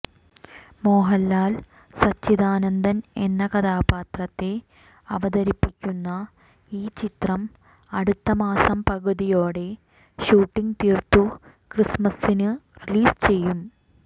മോഹൻലാൽ സച്ചിദാനന്ദൻ എന്ന കഥാപാത്രത്തെ അവതരിപ്പിക്കുന്ന ഈ ചിത്രം അടുത്ത മാസം പകുതിയോടെ ഷൂട്ടിംഗ് തീർത്തു ക്രിസ്മസിന് റീലീസ് ചെയ്യും